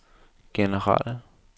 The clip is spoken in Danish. generelle